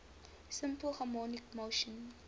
simple harmonic motion